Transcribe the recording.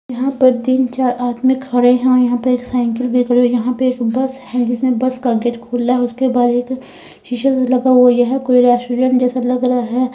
यहां पर तीन चार आदमी खड़े हैं और यहां पे एक साइकिल भी खड़ी हुई यहां पे एक बस है जिसमें बस का गेट खुला है उसके बाद शीशे लगा हुआ है कोई रेस्टोरेंट जैसा लग रहा है।